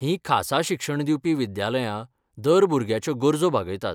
हीं खासा शिक्षण दिवपी विद्यालयां दर भुरग्याच्यो गरजो भागयतात.